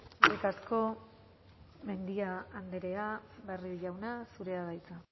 eskerrik asko mendia andrea barrio jauna zurea da hitza